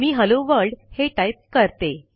मी hello world हे type करते